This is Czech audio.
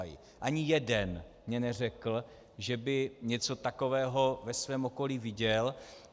Ani jeden mi neřekl, že by něco takového ve svém okolí viděl.